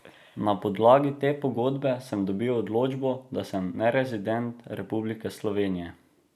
Na podlagi te pogodbe sem dobil odločbo, da sem nerezident Republike slovenije.